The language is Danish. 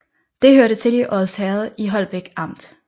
Det hørte til Odsherred i Holbæk Amt